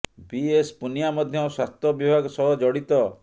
ବି S Punia ମଧ୍ୟ ସ୍ୱାସ୍ଥ୍ୟ ବିଭାଗ ସହ ଜଡିତ